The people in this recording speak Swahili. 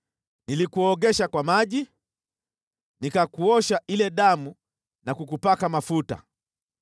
“ ‘Nilikuogesha kwa maji, nikakuosha ile damu na kukupaka mafuta.